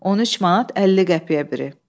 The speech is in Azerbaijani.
13 manat 50 qəpiyə biri.